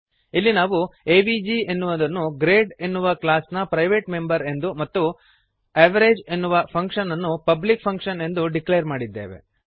ಇಲ್ಲಿ ನಾವು ಎವಿಜಿ ಎನ್ನುವುದನ್ನು ಗ್ರೇಡ್ ಎನ್ನುವ ಕ್ಲಾಸ್ ನ ಪ್ರೈವೇಟ್ ಮೆಂಬರ್ ಎಂದು ಮತ್ತು ಅವೆರೇಜ್ ಎನ್ನುವ ಫಂಕ್ಶನ್ ಅನ್ನು ಪಬ್ಲಿಕ್ ಫಂಕ್ಶನ್ ಎಂದು ಡಿಕ್ಲೇರ್ ಮಾಡಿದ್ದೇವೆ